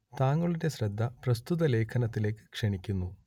താങ്കളുടെ ശ്രദ്ധ പ്രസ്തുത ലേഖനത്തിലേക്ക് ക്ഷണിക്കുന്നു